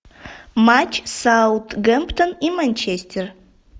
матч саутгемптон и манчестер